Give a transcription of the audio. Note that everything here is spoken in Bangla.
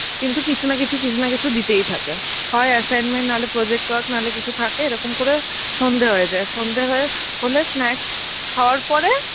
কিন্তু কিছু না কিছু কিছু না কিছু দিতেই থাকে. হয় assignment, নাহলে project work নাহলে কিছু থাকে এরকম করে সন্ধে হয়ে যায়. সন্ধে হয়ে, হলে snacks খাবার পরে